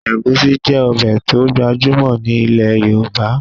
Ẹ̀gúsí jẹ́ ọbẹ̀ to gbajúmọ̀ ni ilẹ̀ Yorùbá